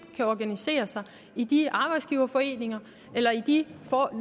kan organisere sig i de arbejdsgiverforeninger eller i de